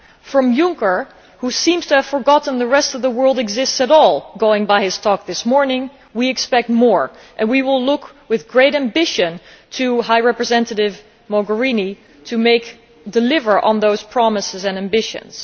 From Juncker, who seems to have forgotten the rest of the world exists at all, going by his talk this morning, we expect more and we will look with great ambition to High Representative Mogherini to deliver on those promises and ambitions.